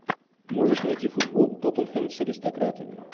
можешь найти футбол тоттенхэм с аристократами